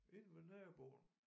Inde ved naboen